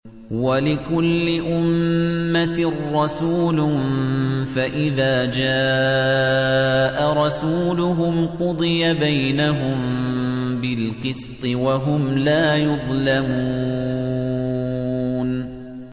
وَلِكُلِّ أُمَّةٍ رَّسُولٌ ۖ فَإِذَا جَاءَ رَسُولُهُمْ قُضِيَ بَيْنَهُم بِالْقِسْطِ وَهُمْ لَا يُظْلَمُونَ